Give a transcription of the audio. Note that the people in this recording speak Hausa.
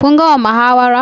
Kun gama muhawara?